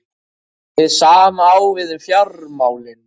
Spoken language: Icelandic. Hið sama á við um fjármálin.